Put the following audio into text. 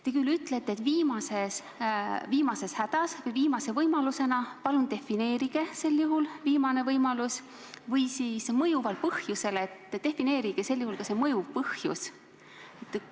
Te küll ütlete, et viimases hädas või viimase võimalusena, aga sel juhul palun defineerige "viimane võimalus", ja te räägite mõjuvast põhjusest – defineerige ka "mõjuv põhjus".